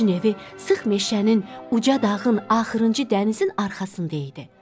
Günəşin evi sıx meşənin, uca dağın, axırıncı dənizin arxasında idi.